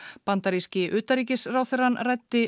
bandaríski utanríkisráðherrann ræddi